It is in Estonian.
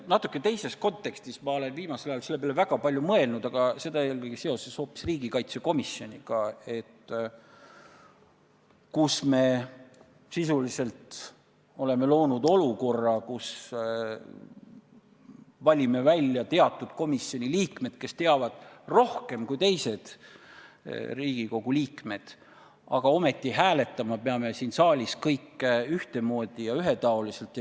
Ma olen viimasel ajal sellele natuke teises kontekstis väga palju mõelnud, aga seda eelkõige seoses riigikaitsekomisjoniga, kus me sisuliselt oleme loonud olukorra, et valime välja teatud komisjoni liikmed, kes teavad rohkem kui teised Riigikogu liikmed, aga ometi peame hääletama siin saalis kõik ühtemoodi ja ühetaoliselt.